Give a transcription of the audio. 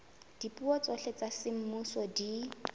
dipuo tsohle tsa semmuso di